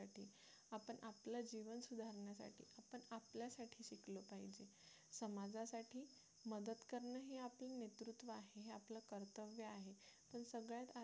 समाजासाठी मदत करणं हे आपलं नेतृत्व आहे हे आपलं कर्तव्य आहे तर सगळ्या